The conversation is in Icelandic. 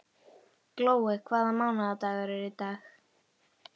Glói, hvaða mánaðardagur er í dag?